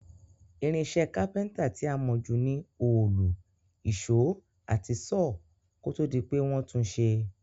Irinsé carpenter ti a mó ju ni òòlù, ìsó àti saw kótódi pe won tun sé